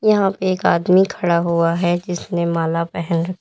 यहां एक आदमी खड़ा हुआ है जिसने माला पहन--